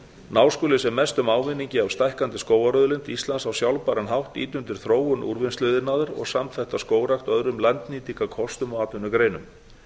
ná skuli sem mestum ávinningi af stækkandi skógarauðlind íslands á sjálfbæran hátt ýta undir þróun úrvinnsluiðnaðar og samþætta skógrækt öðrum landnýtingarkostum og atvinnugreinum